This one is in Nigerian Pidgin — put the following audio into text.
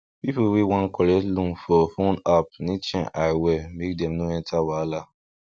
people wey wan collect loan for phone app need shine eye well make dem no enter wahala